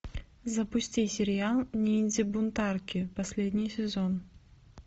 запусти сериал ниндзя бунтарки последний сезон